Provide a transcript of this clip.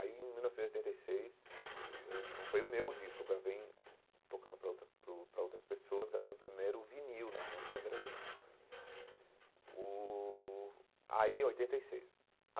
Aí, em mil novecentos e oitenta e seis, eu não foi o meu disco, eu gravei, tocando para outras para o para outras pessoas, gravei o primeiro vinil, na época ainda era vinil o aí oitenta e seis.